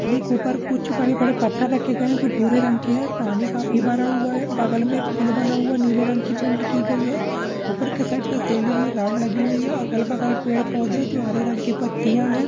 पानी के ऊपर कुछ बड़े-बड़े पत्थर रखे गए हैं जो भूरे रंग के हैं पानी भरा हुआ है बगल में पूल बना हुआ है नीले रंग की पेंट की गई है ऊपर साइड पर सीलिंग पर रोड लगी हुई हैअगल-बगल पेड़-पौधे हैं जो हरे रंग के पत्तियां हैं।